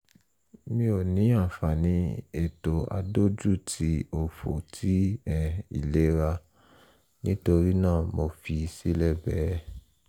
mi ò ní àǹfààní ètò adójú-ti-òfò ti um ìlera nítorí náà mo fi í sílẹ̀ bẹ́ẹ̀